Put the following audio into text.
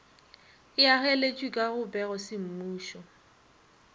e ageletšwe ka go pegosemmušo